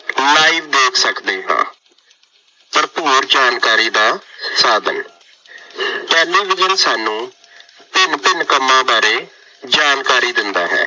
live ਦੇਖ ਸਕਦੇ ਹਾਂ। ਭਰਪੂਰ ਜਾਣਕਾਰੀ ਦਾ ਸਾਧਨ- ਟੈਲੀਵਿਜ਼ਨ ਸਾਨੂੰ ਭਿੰਨ ਭਿੰਨ ਕੰਮਾਂ ਬਾਰੇ ਜਾਣਕਾਰੀ ਦਿੰਦਾ ਹੈ।